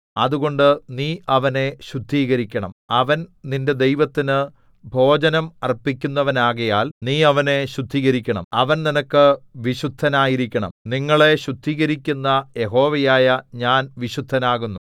അതുകൊണ്ട് നീ അവനെ ശുദ്ധീകരിക്കണം അവൻ നിന്റെ ദൈവത്തിനു ഭോജനം അർപ്പിക്കുന്നവനാകയാൽ നീ അവനെ ശുദ്ധീകരിക്കണം അവൻ നിനക്ക് വിശുദ്ധനായിരിക്കണം നിങ്ങളെ ശുദ്ധീകരിക്കുന്ന യഹോവയായ ഞാൻ വിശുദ്ധൻ ആകുന്നു